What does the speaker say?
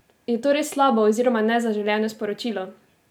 Je to res slabo, oziroma nezaželjeno sporočilo?